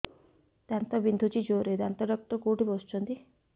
ଦାନ୍ତ ବିନ୍ଧୁଛି ଜୋରରେ ଦାନ୍ତ ଡକ୍ଟର କୋଉଠି ବସୁଛନ୍ତି